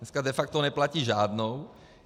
Dneska de facto neplatí žádnou.